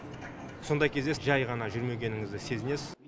сондай кезде жай ғана жүрмегеніңізді сезінесіз